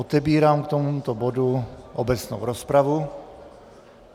Otevírám k tomuto bodu obecnou rozpravu.